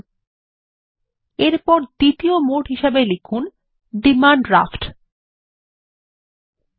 পরবর্তী এর দ্বিতীয় মোড টাইপ করা যাক ডিমান্ড ড্রাফট হিসেবে